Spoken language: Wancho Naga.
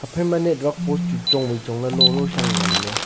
aphaima network post chu chong wai chong ley lolo shang nganley.